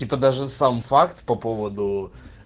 типо даже сам факт по поводу